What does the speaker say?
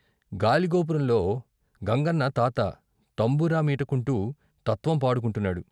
గాలిగోపురంలో గంగన్న తాత తంబురా మీటుకుంటూ తత్వం పాడు కుంటున్నాడు.